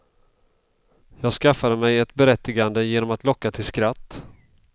Jag skaffade mig ett berättigande genom att locka till skratt.